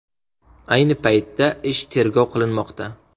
Ayni paytda ish tergov qilinmoqda.